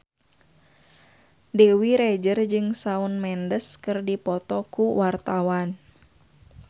Dewi Rezer jeung Shawn Mendes keur dipoto ku wartawan